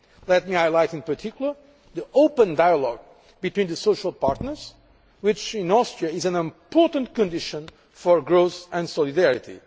Let me highlight in particular the open dialogue between the social partners, which in Austria is an important condition for growth and solidarity.